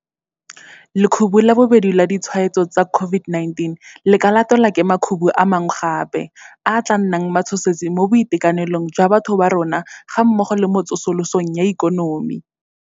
Lekhubu la bobedi la ditshwaetso tsa COVID-19 le ka latelwa ke makhubu a mangwe gape, a a tla nnang matshosetsi mo boitekanelong jwa batho ba rona gammogo le mo tsosolosong ya ikonomi.